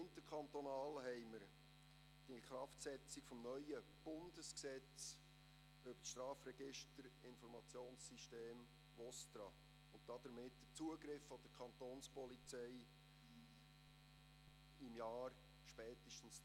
Interkantonal steht die Inkraftsetzung des neuen Bundesgesetzes über das Strafregister-Informationssystem VOSTRA (Strafregistergesetz, StReG) an, und damit auch der Zugriff der Kapo spätestens im Jahr 2020.